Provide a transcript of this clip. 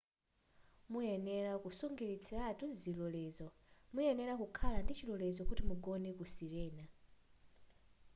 muyenera kusungitsiratu zilolezo muyenera kukhala ndichilolezo kuti mugone ku sirena